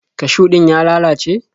Kashiw din ya lalace?